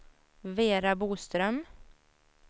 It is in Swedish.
Vera Boström